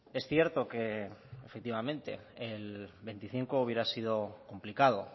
es cierto que efectivamente el veinticinco hubiera sido complicado